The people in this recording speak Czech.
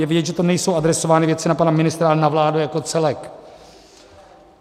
Je vidět, že tam nejsou adresovány věci na pana ministra, ale na vládu jako celek.